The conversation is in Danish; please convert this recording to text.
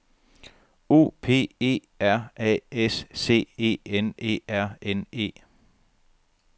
O P E R A S C E N E R N E